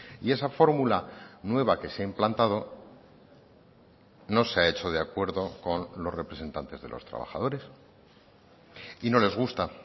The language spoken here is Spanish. y esa fórmula nueva que se ha implantado no se ha hecho de acuerdo con los representantes de los trabajadores y no les gusta